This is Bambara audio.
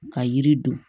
Ka yiri don